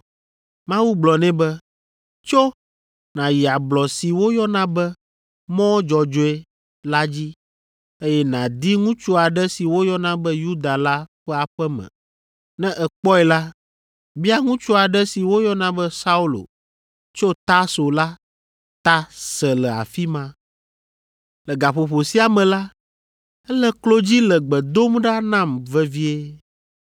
Mawu gblɔ nɛ be, “Tso nàyi ablɔ si woyɔna be, ‘Mɔ Dzɔdzɔe’ la dzi, eye nàdi ŋutsu aɖe si woyɔna be Yuda la ƒe aƒe me. Ne èkpɔe la, bia ŋutsu aɖe si woyɔna be Saulo tso Tarso la ta se le afi ma. Le gaƒoƒo sia me la, ele klo dzi le gbe dom ɖa nam vevie,